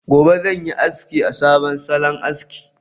Gobe ​​zanyi aski a sabon salon aski